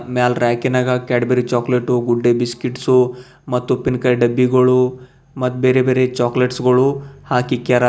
ಮ್ಯಾಲ್ ರ್ಯಾಕಿನಾಗ Cadbury chocolate Good Day biscuits ಮತ್ತ್ ಉಪ್ಪಿನ್ಕಾಯಿ ಡಬ್ಬಿಗಳು ಮತ್ತ್ ಬೇರೆ ಬೇರೆ ಚಾಕಲೇಟ್ಸ್ ಗಳು ಹಾಕ್ ಇಕ್ಯಾರ.